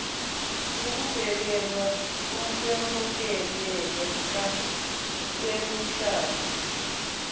ukubhekelwa ukwemukeleka kwemishado